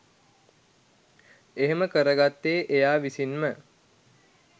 එහෙම කරගත්තේ එයා විසින්ම